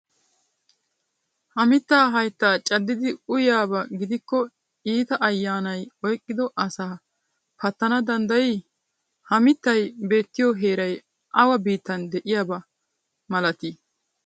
Ha mittaa hayitta caddidi uyiyaaba gidikko iita ayyanayi oyiqqido asaa pattana danddayii? Ha mittayi beetiyo heerayi awa biittan de'iyaaba malatii?